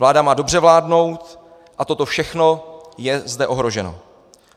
Vláda má dobře vládnout a toto všechno je zde ohroženo.